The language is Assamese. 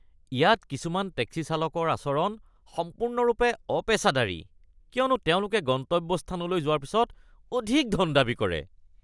ইয়াত কিছুমান টেক্সি চালকৰ আচৰণ সম্পূৰ্ণৰূপে অপেচাদাৰী কিয়নো তেওঁলোকে গন্তব্যস্থানলৈ যোৱাৰ পাছত অধিক ধন দাবী কৰে।